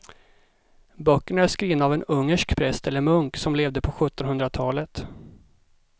Böckerna är skrivna av en ungersk präst eller munk som levde på sjuttonhundratalet.